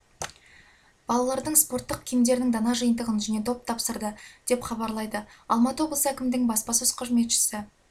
балалардың спорттық киімдерінің дана жиынтығын және доп тапсырды деп хабарлайды алматы облысы әкімдігінің баспасөз қызметі